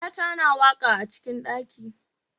yata na waka acikin ɗaki